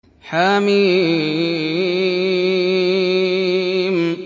حم